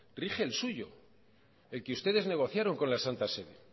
rige el suyo el que ustedes negociaron con la santa sede